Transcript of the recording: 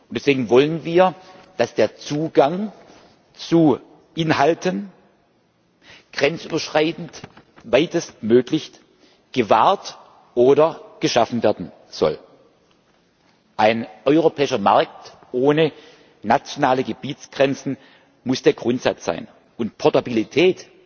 Deswegen wollen wir, dass der Zugang zu Inhalten grenzüberschreitend weitestmöglich gewahrt oder geschaffen werden soll. Ein europäischer Markt ohne nationale Gebietsgrenzen muss der Grundsatz sein und Portabilität